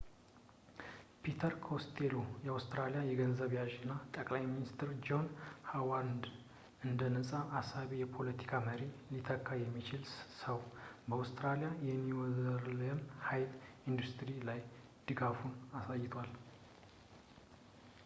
ፒተር ኮስቴሎ አውስትራሊያዊ ገንዘብ ያዥ እና ጠቅላይ ሚኒስቴር ጆን ሀዋርድን እንደ ነፃ አሳቢ የፖለቲካ መሪ ሊተካ የሚችለው ሰው በአውስትራሊያ የኒኩሊየር ኃይል ኢንዲስትሪ ላይ ድጋፉን አሳይቷል